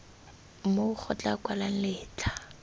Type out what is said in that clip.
moo go tla kwalwang letlha